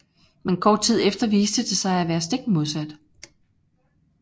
Men kort tid efter viste det sig at være stik modsat